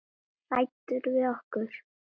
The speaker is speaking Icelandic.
Fyrir á Hannes Jón Gunnar.